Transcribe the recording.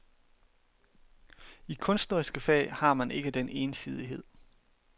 I kunstneriske fag har man ikke den ensidighed.